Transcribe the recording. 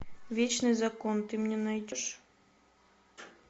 вечный закон ты мне найдешь